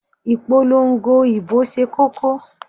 Ìpolongo ìbò ṣe kókó.